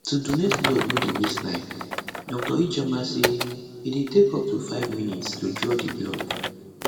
to donate blood no dey waste time dr ijeoma say e dey take up to five minutes to draw di blood